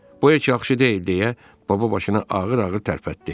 Bu heç yaxşı deyil deyə baba başını ağır-ağır tərpətdi.